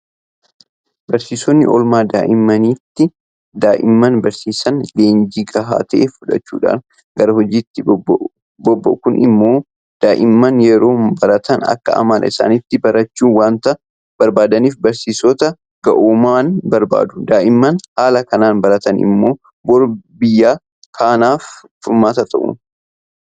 Barsiisonni oolmaa daa'immaniitti daa'imman barsiisan leenjii gahaa ta'e fudhachuudhaan gara hojiitti bobba'u. Kun immoo daa'imman yeroo baratan akka amala isaaniitti barachuu waanta barbaadaniif barsiisota ga'ooman barbaadu. Daa'imman haala kanaan baratan immoo boru biyya kanaaf furmaata ta'u.